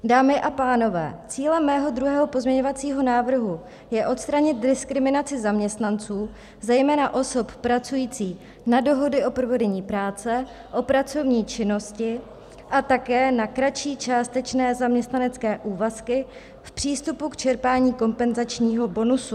Dámy a pánové, cílem mého druhého pozměňovacího návrhu je odstranit diskriminaci zaměstnanců, zejména osob pracujících na dohody o provedení práce, o pracovní činnosti a také na kratší částečné zaměstnanecké úvazky, v přístupu k čerpání kompenzačního bonusu.